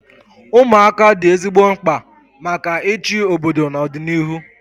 Ụmụaka dị ezigbo mkpa maka ịchị obodo na ọdịnihu